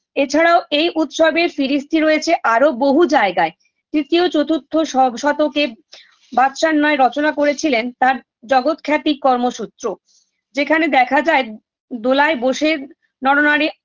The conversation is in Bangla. এছাড়াও এই উৎসবের ফিরিস্তি রয়েছে আরো বহু জায়গায় তৃতীয় চতুর্থ সব শতকে বাতসার ন্যায় রচনা করেছিলেন তার জগত খ্যাতি কর্ম সুত্র যেখানে দেখা যায় দোলায় বোসে নরনারী